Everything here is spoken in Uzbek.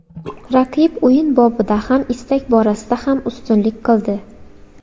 Raqib o‘yin bobida ham, istak borasida ham ustunlik qildi.